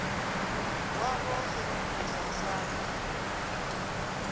wavho o sedzuluswa sa zwe